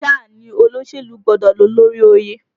Sáà ni olóṣèlú gbọ́dọ̀ ló lórí oyè!